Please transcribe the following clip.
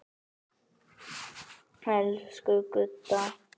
Elsku Gudda.